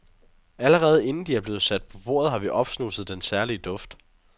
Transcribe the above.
Allerede inden de er blevet sat på bordet, har vi opsnuset den særlige duft.